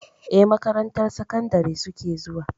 Eh, makarantar sakandari suke zuwa.